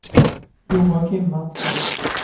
Joakim Mattsson